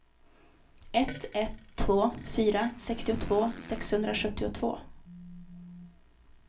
ett ett två fyra sextiotvå sexhundrasjuttiotvå